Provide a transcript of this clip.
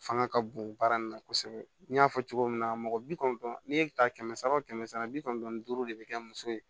Fanga ka bon baara in na kosɛbɛ n y'a fɔ cogo min na mɔgɔ bi kɔnɔntɔn ni e bɛ taa kɛmɛ saba o kɛmɛ sara bi kɔnɔntɔn ni duuru de bɛ kɛ muso ye